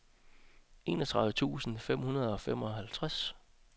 enogtredive tusind fem hundrede og femoghalvtreds